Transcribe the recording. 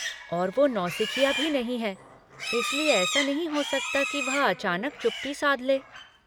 और वह नौसिखिया भी नहीं है, इसलिए ऐसा नहीं हो सकता कि वह अचानक चुप्पी साध ले।